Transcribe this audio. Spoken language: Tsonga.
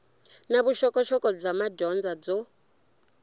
na vuxokoxoko bya madyondza byo